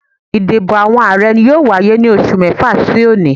Ìdìbò àwọn Ààrẹ yóò wáyé ní oṣù mẹ́fà sí òní